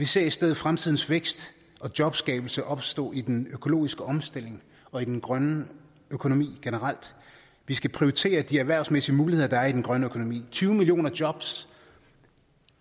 ser i stedet fremtidens vækst og jobskabelse opstå i den økologiske omstilling og i den grønne økonomi generelt vi skal prioritere de erhvervsmæssige muligheder der er i den grønne økonomi tyve millioner jobs